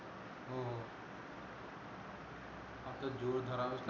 आता जोर धरावाच